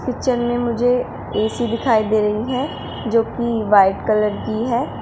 Kitchen में मुझे AC दिखाई दे रही है जो की वाइट कलर की है।